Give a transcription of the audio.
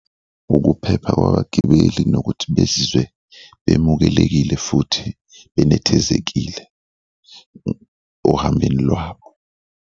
Ukuphepha kwabagibeli nokuthi bezizwe bemukelekile futhi benethezekile ohambeni lwabo.